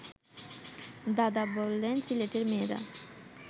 দাদা বললেন সিলেটের মেয়েরা